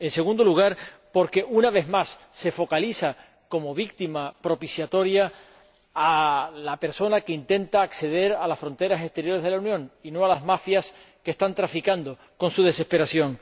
En segundo lugar porque, una vez más, se focaliza como víctima propiciatoria a la persona que intenta acceder a las fronteras exteriores de la Unión, y no a las mafias que están traficando con su desesperación.